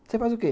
Você faz o quê?